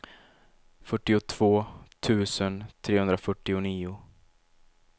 fyrtiotvå tusen trehundrafyrtionio